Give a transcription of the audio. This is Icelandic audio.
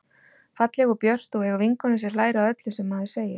Falleg og björt og eiga vinkonu sem hlær að öllu sem maður segir.